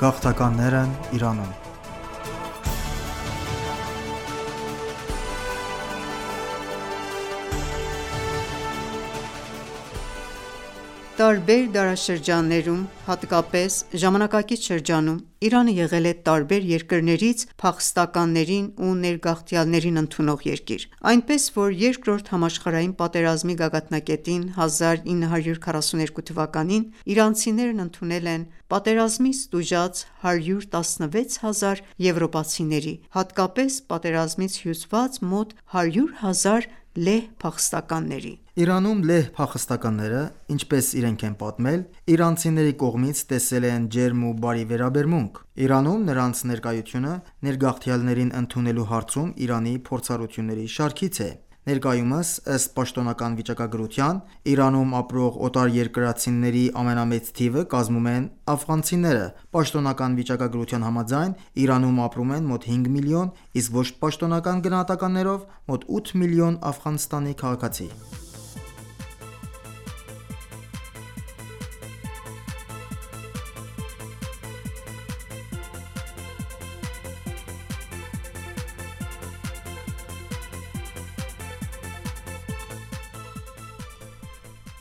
Գաղթականներն Իրանում Տարբեր դարաշրջաններում, հատկապես ժամանակակից շրջանում Իրանը եղել է տարբեր երկրներից փախստականներին ու ներգաղթյալներին ընդունող երկիր։ Տարբեր դարաշրջաններում, հատկապես ժամանակակից շրջանում Իրանը եղել է տարբեր երկրներից փախստականներին ու ներգաղթյալներին ընդունող երկիր, այնպես որ Երկրորդ համաշխարհային պատերազմի գագաթնակետին (1942թ.) իրանցիներն ընդունել են պատերազմից տուժած 116 հազար եվրոպացիների, հատկապես պատերազմից հյուծված մոտ 100 հազար լեհ փախստականների։ Իրանում լեհ փախստականները, ինչպես իրենք են պատմել, իրանցիների կողմից տեսել են ջերմ ու բարի վերաբերմունք։ Իրանում նրանց ներկայությունը ներգաղթյալներին ընդունելու հարցում Իրանի փորձառությունների շարքից է։ Ներկայումս, ըստ պաշտոնական վիճակագրության, Իրանում ապրող օտարերկրացիների ամենամեծ թիվը կազմում են աֆղանցիները։ Պաշտոնական վիճակագրության համաձայն՝ Իրանում ապրում են մոտ 5 միլիոն, իսկ ոչ պաշտոնական գնահատականներով մոտ 8 միլիոն Աֆղանստանի քաղաքացի։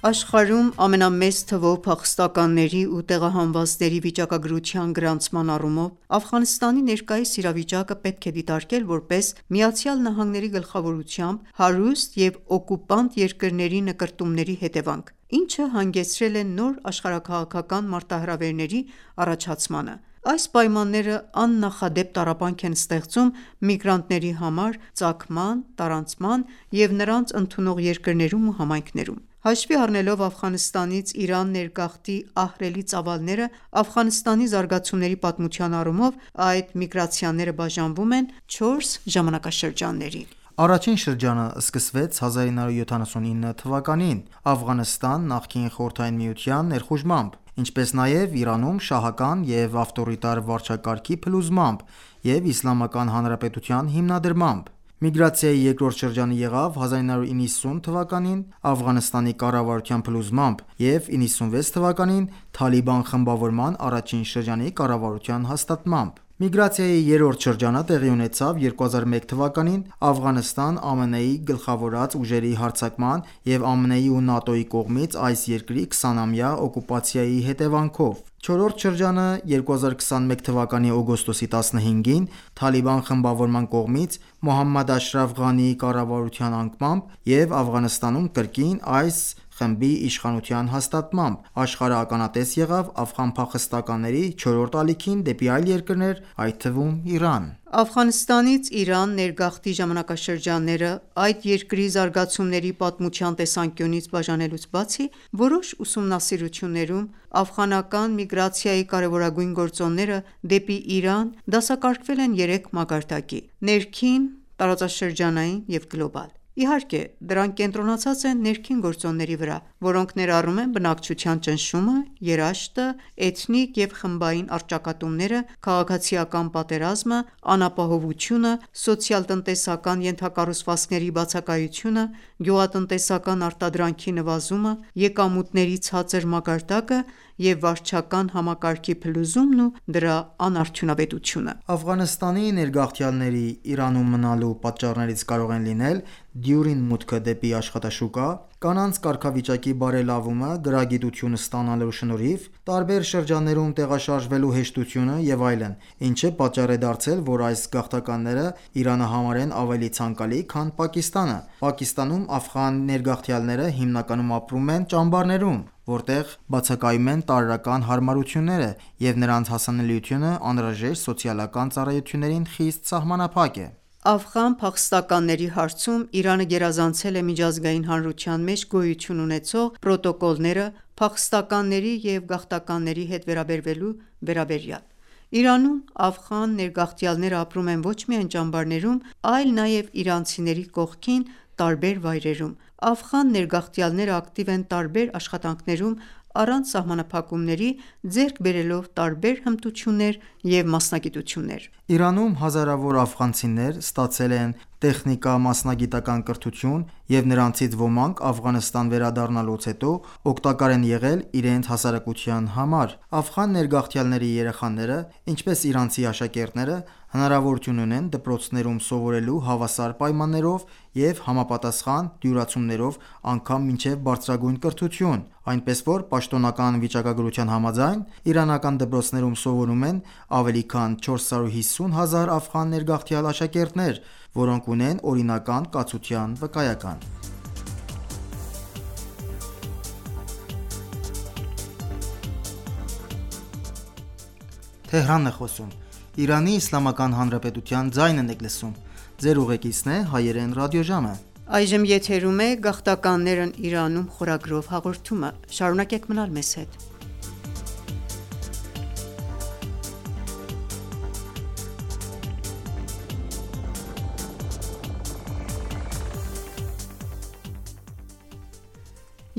Աշխարհում ամենամեծ թվով փախստականների ու տեղահանվածների վիճակագրության գրանցման առումով, Աֆղանստանի ներկայիս իրավիճակը պետք է դիտարկել որպես ԱՄՆ-ի գլխավորությամբ հարուստ և օկուպանտ երկրների նկրտումների հետևանք, ինչը հանգեցրել է նոր աշխարհաքաղաքական մարտահրավերների առաջացմանը։ Այս պայմանները աննախադեպ տառապանք են ստեղծում միգրանտների համար ծագման, տարանցման և նրանց ընդունող երկրներում ու համայնքներում: Հաշվի առնելով Աֆղանստանից Իրան ներգաղթի ահռելի ծավալները, Աֆղանստանի զարգացումների պատմության առումով այդ միգրացիաները բաժանվում են չորս ժամանակաշրջանների. Առաջին շրջանը սկսվեց 1979 թվականին Աֆղանստան նախկին Խորհրդային Միության ներխուժմամբ, ինչպես նաև Իրանում շահական և ավտորիտար վարչակարգի փլուզմամբ և Իսլամական Հանրապետության հիմնադրմամբ: Միգրացիայի երկրորդ շրջանը եղավ 1990 թվականին՝ Աֆղանստանի կառավարության փլուզմամբ և 1996 թվականին Թալիբան խմբավորման առաջին շրջանի կառավարության հաստատմամբ։ Միգրացիայի երրորդ շրջանը տեղի ունեցավ 2001 թվականին Աֆղանստան ԱՄՆ-ի գլխավորած ուժերի հարձակման և ԱՄՆ-ի ու ՆԱՏՕ-ի կողմից այս երկրի 20-ամյա օկուպացիայի հետևանքով: Չորրորդ շրջան. 2021 թվականի օգոստոսի 15-ին Թալիբան խմբավորման կողմից Մոհամմադ Աշրաֆ Ղանիի կառավարության անկմամբ և Աֆղանստանում կրկին այս խմբի իշխանության հաստատմամբ, աշխարհը ականատես եղավ աֆղան փախստականների չորրորդ ալիքին դեպի այլ երկրներ, այդ թվում Իրան: Աֆղանստանից Իրան ներգաղթի ժամանակաշրջանները այդ երկրի զարգացումների պատմության տեսանկյունից բաժանելուց բացի, որոշ ուսումնասիրություններում աֆղանական միգրացիայի կարևորագույն գործոնները դեպի Իրան դասակարգվել են երեք մակարդակի՝ ներքին, տարածաշրջանային և գլոբալ, իհարկե դրանք կենտրոնացած են ներքին գործոնների վրա, որոնք ներառում են բնակչության ճնշումը, երաշտը, էթնիկ և խմբային առճակատումները, քաղաքացիական պատերազմը, անապահովությունը, սոցիալ-տնտեսական ենթակառուցվածքների բացակայությունը, գյուղատնտեսական արտադրանքի նվազումը, եկամուտների ցածր մակարդակը և վարչական համակարգի փլուզումն ու դրա անարդյունավետությունը: Աֆղանստանի ներգաղթյալների՝ Իրանում մնալու պատճառներից կարող են լինել դյուրին մուտքը դեպի աշխատաշուկա, կանանց կարգավիճակի բարելավումը գրագիտություն ստանալու շնորհիվ, տարբեր շրջաններում տեղաշարժվելու հեշտությունը և այլն, ինչը պատճառ է դարձել, որ այս գաղթականները Իրանը համարեն ավելի ցանկալի, քան Պակիստանը։ Պակիստանում աֆղան ներգաղթյալները հիմնականում ապրում են ճամբարներում, որտեղ բացակայում են տարրական հարմարությունները, և նրանց հասանելիությունը անհրաժեշտ սոցիալական ծառայություններին խիստ սահմանափակ է: Աֆղան փախստականների հարցում Իրանը գերազանցել է միջազգային հանրության մեջ գոյություն ունեցող պրոտոկոլները՝ փախստականների և գաղթականների հետ վերաբերվելու վերաբերյալ։ Իրանում աֆղան ներգաղթյալներն ապրում են ոչ միայն ճամբարներում, այլ նաև իրանցիների կողքին՝ տարբեր վայրերում։ Աֆղան ներգաղթյալները ակտիվ են տարբեր աշխատանքներում առանց սահմանափակումների՝ ձեռք բերելով տարբեր հմտություններ և մասնագիտություններ: Իրանում հազարավոր աֆղանցիներ ստացել են տեխնիկամասնագիտական կրթություն, և նրանցից ոմանք Աֆղանստան վերադառնալուց հետո օգտակար են եղել իրենց հասարակության համար: Աֆղան ներգաղթյալների երեխաները, ինչպես իրանցի աշակերտները, հնարավորություն ունեն դպրոցներում սովորելու հավասար պայմաններով և համապատասխան դյուրացումներով անգամ մինչև բարձրագույն կրթություն: Այնպես որ պաշտոնական վիճակագրության համաձայն, իրանական դպրոցներում սովորում են ավելի քան 450 հազար աֆղան ներգաղթյալ աշակերտներ, ովքեր ունեն օրինական կացության վկայական: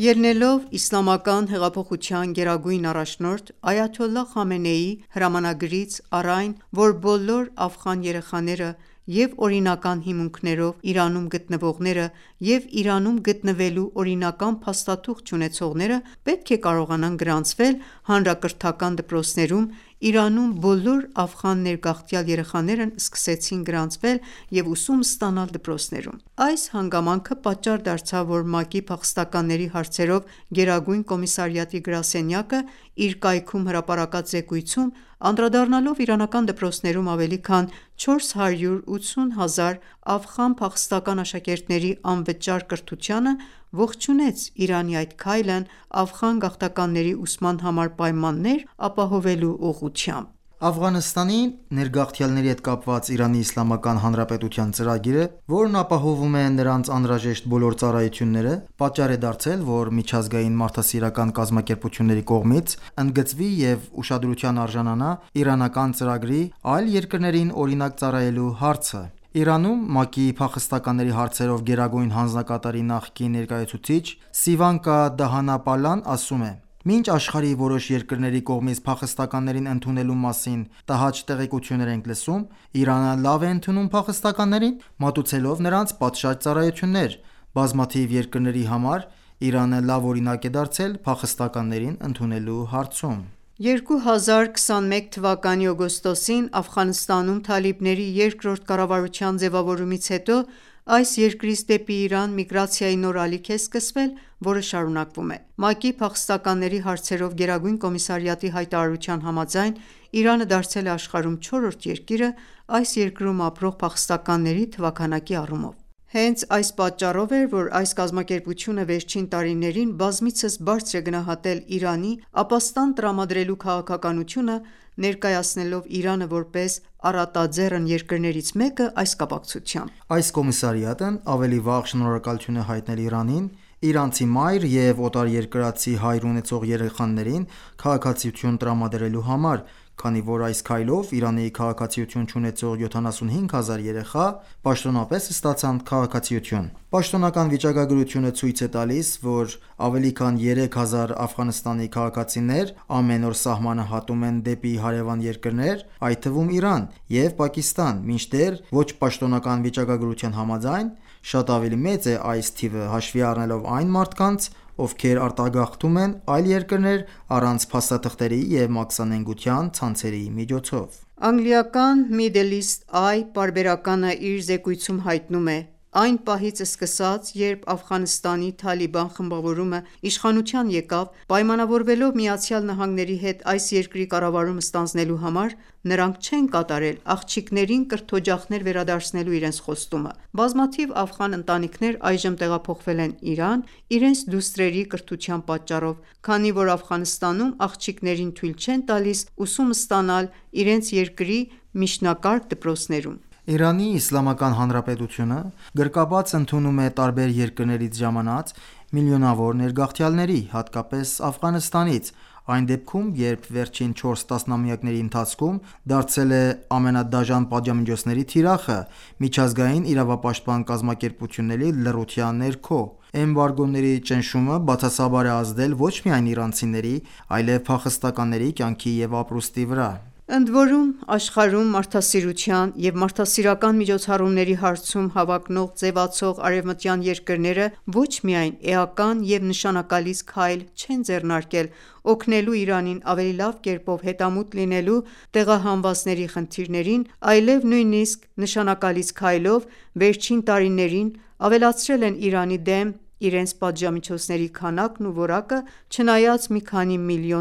Ելնելով Իսլամական հեղափոխության գերագույն առաջնորդ Այաթոլլահ Խամենեիի հրամանագրից առ այն, որ բոլոր աֆղան երեխաները՝ և՛ օրինական հիմունքներով Իրանում գտնվողները, և՛ Իրանում գտնվելու օրինական փաստաթուղթ չունեցողները, պետք է կարողանան գրանցվել հանրակրթական դպրոցներում, Իրանում բոլոր աֆղան ներգաղթյալ երեխաներն սկսեցին գրանցվել և ուսում ստանալ դպրոցներում։ Այս հանգամանքը պատճառ դարձավ, որ ՄԱԿ-ի փախստականների հարցերով գերագույն կոմիսարիատի գրասենյակը (UNHCR) իր կայքում հրապարակած զեկույցում, անդրադառնալով իրանական դպրոցներում ավելի քան 480,000 աֆղան փախստական աշակերտների անվճար կրթությանը, ողջունեց Իրանի այդ քայլն Աֆղան գաղթականների ուսման համար պայմաններ ապահովելու ուղղությամբ։ Աֆղանստանի ներգաղթյալների հետ կապված Իրանի Իսլամական Հանրապետության ծրագիրը, որն ապահովում է նրանց անհրաժեշտ բոլոր ծառայությունները, պատճառ է դարձել, որ միջազգային մարդասիրական կազմակերպությունների կողմից ընդգծվի և ուշադրության արժանանա իրանական ծրագրի՝ այլ երկրներին օրինակ ծառայելու հարցը։ Իրանում ՄԱԿ-ի փախստականների հարցերով գերագույն հանձնակատարի նախկին ներկայացուցիչ Սիվանկա Դհանապալան ասում է. «Մինչ աշխարհի որոշ երկրների կողմից փախստականներին ընդունելու մասին տհաճ տեղեկություններ ենք լսում, Իրանը լավ է ընդունում փախստականներին՝ մատուցելով նրանց պատշաճ ծառայություններ։ Բազմաթիվ երկրների համար Իրանը լավ օրինակ է դարձել փախստականներին ընդունելու հարցում»: 2021 թվականի օգոստոսին Աֆղանստանում թալիբների երկրորդ կառավարության ձևավորումից հետո այս երկրից դեպի Իրան միգրացիայի նոր ալիք է սկսվել, որը շարունակվում է։ ՄԱԿ-ի փախստականների հարցերով գերագույն կոմիսարիատի (UNHCR) հայտարարության համաձայն՝ Իրանը դարձել է աշխարհում չորրորդ երկիրը՝ այս երկրում ապրող փախստականների թվաքանակի առումով։ Հենց այս պատճառով էր, որ այս կազմակերպությունը վերջին տարիներին բազմիցս բարձր է գնահատել Իրանի՝ ապաստան տրամադրելու քաղաքականությունը՝ Իրանը որպես առատաձեռն երկրներից մեկը այս կապակցությամբ։ Այս կոմիսարիատն ավելի վաղ շնորհակալություն է հայտնել Իրանին՝ իրանցի մայր և օտարերկրացի հայր ունեցող երեխաներին քաղաքացիություն տրամադրելու համար, քանի որ այս քայլով Իրանի քաղաքացիություն չունեցող 75 հազար երեխա պաշտոնապես ստացան քաղաքացիություն։ Պաշտոնական վիճակագրությունը ցույց է տալիս, որ ավելի քան 3000 Աֆղանստանի քաղաքացիներ ամեն օր սահմանը հատում են դեպի հարևան երկրներ, այդ թվում Իրան և Պակիստան, մինչդեռ ոչ պաշտոնական վիճակագրության համաձայն՝ շատ ավելի մեծ է այս թիվը՝ հաշվի առնելով այն մարդկանց, ովքեր արտագաղթում են այլ երկրներ՝ առանց փաստաթղթերի և մաքսանենգության ցանցերի միջոցով։ Անգլիական «Middle East Eye» պարբերականն իր զեկույցում հայտնում է. «Այն պահից սկսած, երբ Աֆղանստանի Թալիբան խմբավորումը իշխանության եկավ՝ պայմանավորվելով ԱՄՆ-ի հետ այս երկրի կառավարումը ստանձնելու համար, նրանք չեն կատարել աղջիկներին կրթօջախներ վերադարձնելու իրենց խոստումը։ Բազմաթիվ աֆղան ընտանիքներ այժմ տեղափոխվել են Իրան՝ իրենց դուստրերի կրթության պատճառով, քանի որ Աֆղանստանում աղջիկներին թույլ չեն տալիս ուսում ստանալ իրենց երկրի միջնակարգ դպրոցներում»: Իրանի Իսլամական Հանրապետությունը գրկաբաց ընդունում է տարբեր երկրներից ժամանած միլիոնավոր ներգաղթյալների, հատկապես Աֆղանստանից, այն դեպքում, երբ վերջին չորս տասնամյակների ընթացքում դարձել է ամենադաժան պատժամիջոցների թիրախը՝ միջազգային իրավապաշտպան կազմակերպությունների լռության ներքո։ Էմբարգոների ճնշումը բացասաբար է ազդել ոչ միայն իրանցիների, այլև փախստականների կյանքի և ապրուստի վրա։ Ընդորում, աշխարհում մարդասիրության և մարդասիրական միջոցառումների հարցում հավակնող ձևացող արևմտյան երկրները ոչ միայն էական և նշանակալից քայլ չեն ձեռնարկել՝ օգնելու Իրանին ավելի լավ կերպով հետամուտ լինել տեղահանվածների խնդիրներին, այլև նույնիսկ նշանակալից քայլով վերջին տարիներին ավելացրել են Իրանի դեմ իրենց պատժամիջոցների քանակն ու որակը՝ չնայած մի քանի միլիոն